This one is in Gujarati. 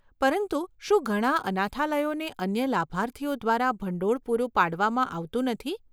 પરંતુ શું ઘણા અનાથાલયોને અન્ય લાભાર્થીઓ દ્વારા ભંડોળ પૂરું પાડવામાં આવતું નથી?